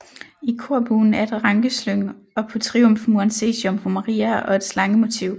I korbuen er et rankeslyng og på triumfmuren ses Jomfru Maria og et slangemotiv